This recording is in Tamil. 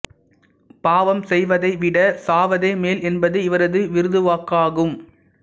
பாவம் செய்வதை விட சாவதே மேல் என்பது இவரது விருதுவாக்கு ஆகும்